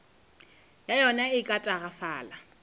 ya yona e ka tagafala